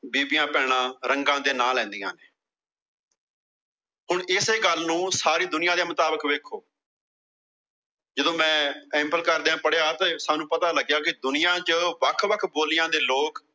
ਬੀਬੀਆਂ-ਭੈਣਾਂ ਰੰਗਾਂ ਦੇ ਨਾਂ ਲੈਂਦੀਆਂ ਨੇ ਹੁਣ ਏਸੇ ਗੱਲ ਨੂੰ ਸਾਰੀ ਦੁਨੀਆਂ ਦੇ ਮੁਤਾਬਕ ਦੇਖੋ ਜਦੋਂ ਮੈਂ ਸੈਂਪਲ ਕਰਦਿਆਂ ਪੜਿਆ ਤਾਂ ਸਾਨੂੰ ਪਤਾ ਲੱਗਿਆ ਕਿ ਦੁਨੀਆਂ ਚ ਵੱਖ-ਵੱਖ ਬੋਲੀਆਂ ਦੇ ਲੋਕ